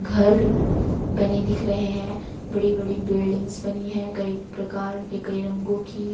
घर बने दिख रहे हैं बड़ी बड़ी बिल्डिंग्स बनी है कई प्रकार के कई रंगों की--